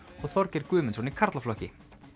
og Þorgeir Guðmundsson í karlaflokki